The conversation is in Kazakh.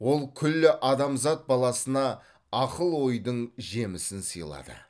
ол күллі адамзат баласына ақыл ойдың жемісін сыйлады